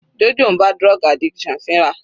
Jojo ń bá drug addiction fínra.